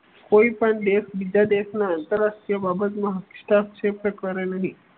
કોઈપણ દેશ બીજા દેશના આંતરરાષ્ટ્રીય બાબતમાં હસ્તક્ષેપ કરે નહિ.